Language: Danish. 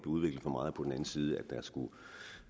udviklet for meget og på den anden side at der skulle